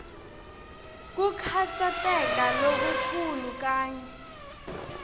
kukhatsateka lokukhulu kanye